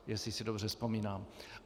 Jestli si dobře vzpomínám.